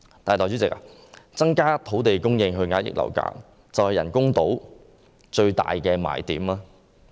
但是，代理主席，增加土地供應以遏抑樓價，就是人工島最大的賣點嗎？